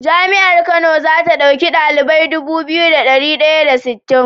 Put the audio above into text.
Jami'ar kano zata dauki ɗalibai Dubu biyu da dari daya da sittin